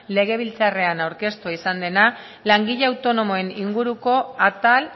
legebiltzarrean aurkeztua izan dena langile autonomoen inguruko atal